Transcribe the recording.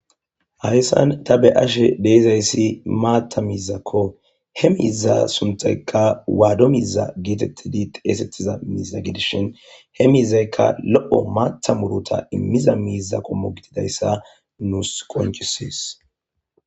hayssan ta be ashe deizayssi maatta miizakko he miiza suntaykka waado miza geetettidi xeesettiza miiza gedishin he miizaykka lo7o maatta murota immiza miiza komo gididayssa nuus qonchisees